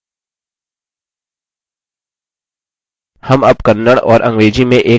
हम अब kannada और अंग्रेजी में एक वाक्य type करेंगे